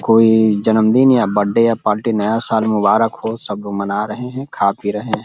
कोई जन्मदिन या बड्डे या पार्टी नया साल मुबारक हो सब लोग मना रहे हैं खा पी रहे हैं।